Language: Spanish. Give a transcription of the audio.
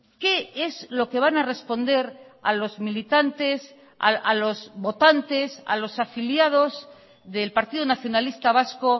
qué es lo que van a responder a los militantes a los votantes a los afiliados del partido nacionalista vasco